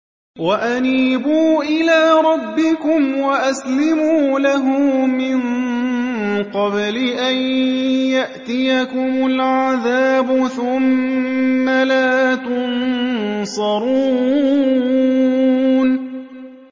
وَأَنِيبُوا إِلَىٰ رَبِّكُمْ وَأَسْلِمُوا لَهُ مِن قَبْلِ أَن يَأْتِيَكُمُ الْعَذَابُ ثُمَّ لَا تُنصَرُونَ